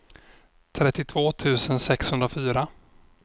trettiotvå tusen sexhundrafyra